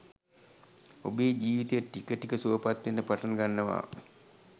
ඔබේ ජීවිතය ටික ටික සුවපත් වෙන්න පටන් ගන්නවා.